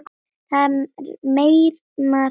Það meyrnar í súrnum.